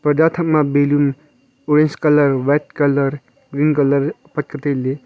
parda thakma balloon orange colour white colour green colour apet la tailey.